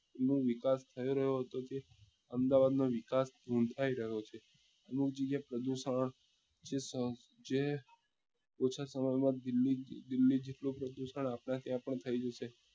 નો વિકાસ થઇ રહ્યો છે તે અમદાવાદ નો વિકાસ ચૂંથાઈ રહ્યો છે અમુક જગ્યા એ પ્રદુષણ જે ઓછા સમય માં દિલ્લી જે દિલ્લી જેટલો પ્રદુષણ આપડા ત્યાં પણ થઇ જશે